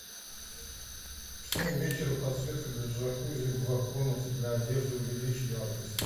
в семь вечера подсветка для джакузи в комнате для одежды увеличь яркость